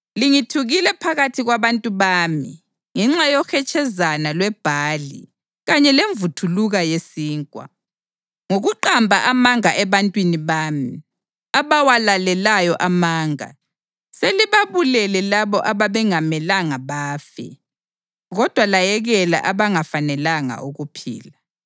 Lingithukile phakathi kwabantu bami ngenxa yohetshezana lwebhali kanye lemvuthuluka yesinkwa. Ngokuqamba amanga ebantwini bami, abawalalelayo amanga, selibabulele labo ababengamelanga bafe, kodwa layekela abangafanelanga ukuphila.